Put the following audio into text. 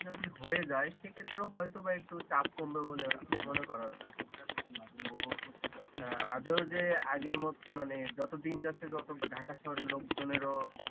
যদি হয়ে যায় সে ক্ষেত্রে ও হয়তো বা একটু চাপ কমবে বলে মনে করা যায় আদৌও যে আগের মতো মানে যত দিন যাচ্ছে তত ঢাকা শহরের লোকজনেরও